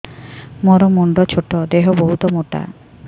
ମୋର ମୁଣ୍ଡ ଛୋଟ ଦେହ ବହୁତ ମୋଟା